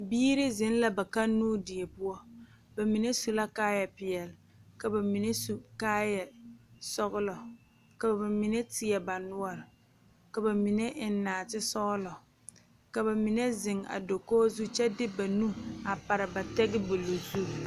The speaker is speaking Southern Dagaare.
Bibiiri zeŋ la ba kannoo die poɔ bamine su la kaaya peɛle ka bamine su kaaya sɔglɔ ka bamine teɛ ba noɔ ka bamine eŋ naate sɔglɔ ka bamine zeŋ a dakogi kyɛ de nu a pare ba tabol zu.